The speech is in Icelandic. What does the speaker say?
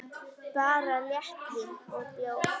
Bara léttvín og bjór.